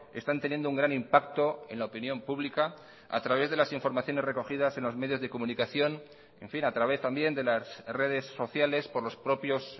están teniendo un gran impacto en la opinión pública a través de las informaciones recogidas en los medios de comunicación en fin a través también de las redes sociales por los propios